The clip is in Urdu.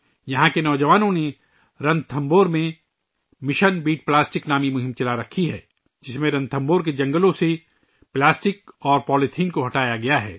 یہاں کے نوجوانوں نے رَنتھمبور میں ' مشن بیٹ پلاسٹک 'نام سے ایک مہم شروع کی ہوئی ہے ، جس میں رنتھمبور کے جنگلات سے پلاسٹک اور پولی تھین کو ہٹا یا گیا ہے